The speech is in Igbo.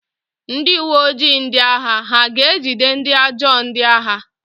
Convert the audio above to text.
Ndị uwe ojii ndị agha ha ga-ejide ndị ajọ ndị agha?